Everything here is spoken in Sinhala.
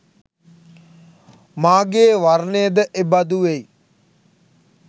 මාගේ වර්ණය ද එබඳු වෙයි